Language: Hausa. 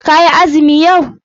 Ka yi azumi yau?